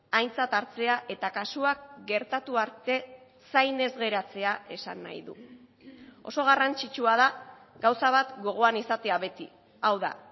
aintzat hartzea eta kasuak gertatu arte zain ez geratzea esan nahi du oso garrantzitsua da gauza bat gogoan izatea beti hau da